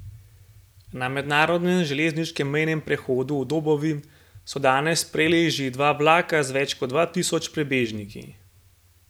Na mednarodnem železniškem mejnem prehodu v Dobovi so danes sprejeli že dva vlaka z več kot dva tisoč prebežniki.